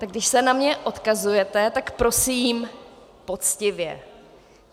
Tak když se na mě odkazujete, tak prosím poctivě.